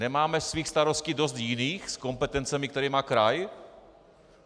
Nemáme svých starostí dost jiných s kompetencemi, které má kraj?